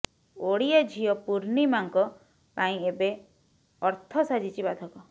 ଓଡିଆ ଝିଅ ପୁର୍ଣ୍ଣିମାଙ୍କ ପାଇଁ ଏବେ ଅର୍ଥ ସାଜିଛି ବାଧକ